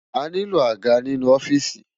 Àniló ágá ninú òfìsí